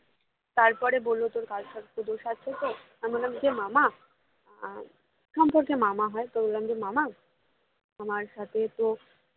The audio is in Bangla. তারপর বললো তোর কালসর্প দোষ আছে তো আমি বললাম যে মামা আহ সম্পর্কে মামা হয় তো বললাম যে মামা আমার সাথে তো